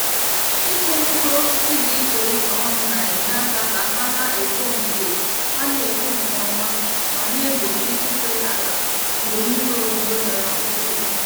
Ịkụ mkpụrụ osisi dị iche iche ọnụ na-enye aka ka ha na-eto nke ha na-eto nke ọma ma na-egbochi ife ala mgbe mmiri ozuzo dara ukwuu.